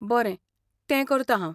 बरें, तें करतां हांव.